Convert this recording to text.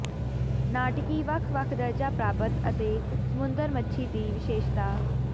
ਨਾਟਕੀ ਵੱਖ ਵੱਖ ਦਰਜਾ ਪ੍ਰਾਪਤ ਅਤੇ ਸਮੁੰਦਰ ਮੱਛੀ ਦੀ ਵਿਸ਼ੇਸ਼ਤਾ